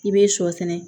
I be sɔ sɛnɛ